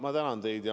Ma tänan teid!